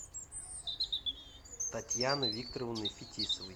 татьяной викторовной фетисовой